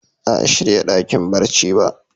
Ba a shirya dakin barci ba.